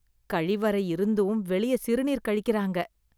கழிவறை இருந்தும் வெளியே சிறுநீர் கழிக்கிறாங்க.